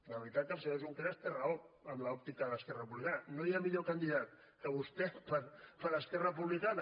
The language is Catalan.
de veritat que el senyor junqueras té raó amb l’òptica d’esquerra republicana no hi ha millor candidat que vostè per a esquerra republicana